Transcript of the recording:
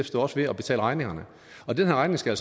står ved at betale regningerne og den her regning skal